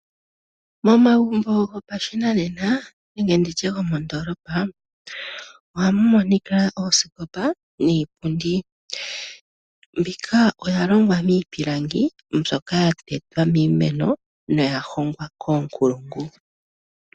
Momagumbo gopashinanena nenge gomoondoolopa ohamu monika oosikopa niipundi. Mbika oya longwa miipilangi mbyoka ya za miimeno noya hongwa koonkulungu .